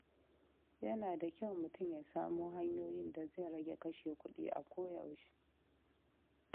Yana da kyau mutum ya samo hanyoyin da zai rage kashe kuɗi a koyaushe.